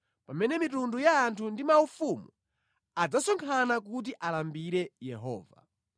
pamene mitundu ya anthu ndi maufumu adzasonkhana kuti alambire Yehova.